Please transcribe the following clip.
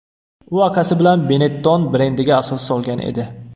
U akasi bilan Benetton brendiga asos solgan edi.